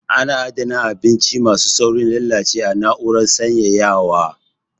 A na adana kayan abinci ma su saurin lalacewa a na'urar sanyaya wa(firinji)